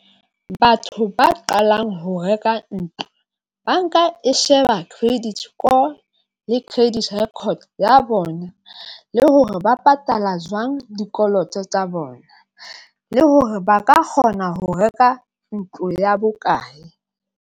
Batho ba qalang ho reka ntlo banka e sheba credit score le credit record ya bona, le hore ba patala jwang dikoloto tsa bona, le hore ba ka kgona ho reka ntlo ya bokae.